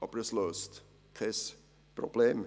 Aber es löst kein Problem.